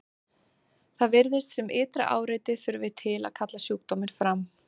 Það virðist sem ytra áreiti þurfi til að kalla sjúkdóminn fram.